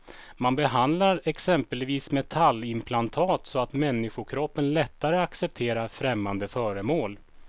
Man behandlar exempelvis metallimplantat så att människokroppen lättare accepterar främmande föremål.